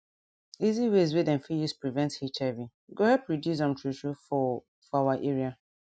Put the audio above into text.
easy ways wey dem fit use prevent hiv go help reduce am true true for for our area